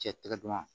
Cɛ tigɛ dama